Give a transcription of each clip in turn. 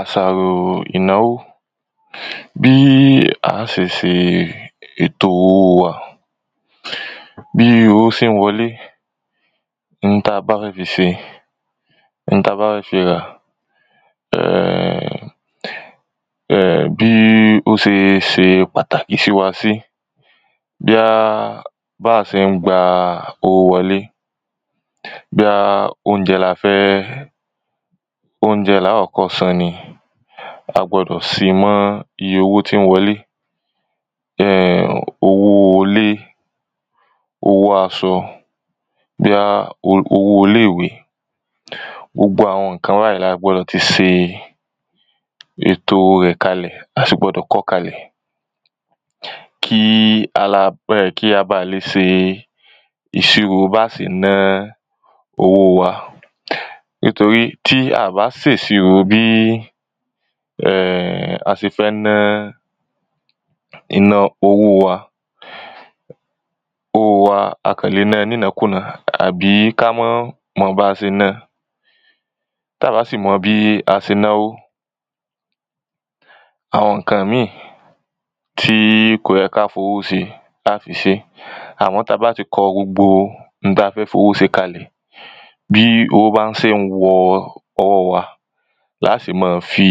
Àṣàro ìnáwó Bí à á ṣe ṣe ètò owó wa bí owó ṣe ń wọlé oun tí a bá fẹ́ fi ṣe oun tí a bá fẹ́ fi rà um um bí ó ṣe ṣe pàtàkì sí wa sí Bóyá bí àwa ṣe ń gba owó wọlé Bóyá óúnjẹ lafẹ́ óúnjẹ ni à á kọ́kọ́ san ni a gbọ́dọ̀ ṣi mọ́ iye owó tí ń wọlé um owo ilé owó aṣọ bóyá owó ilé ìwé gbogbo àwọn nǹkan báyìí ni a gbọ́dọ̀ ti ṣe ètò rẹ̀ kalẹ̀ a sì gbọ́dọ̀ kọ ọ́ kalẹ̀ Kí a ba lè ṣe ìṣírò bí a ṣe ná owó wa Nítorí tí a à bá ṣe ìṣirò bí a ṣe fẹ́ ná owó wa owó wa a kàn lè na ní ìnákúná àbí kí a ma mọ bí a ṣe ná-an Tí a à bá sì mọ bí a ṣe náwó àwọn nǹkan míì tí kò yẹ kí á fi owó ṣe à á fi ṣeé Àmọ́ tí a bá ti kọ gbogbo oun tí a fẹ́ fi owó ṣe kalẹ̀ bí owó bá ṣe ń wọ owó wa la á ṣe máa fi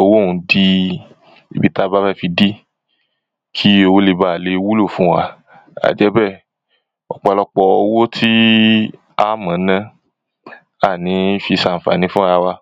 owó ọ̀hún dí ibi tí a bá fẹ́ fi dí Kí owó lè baà lè wúlò fún wa àìjẹ́bẹ́ẹ̀ ọ̀pọ̀lọpọ̀ owó tí a máa ná a à ní fi ṣe àǹfàní fúnra wa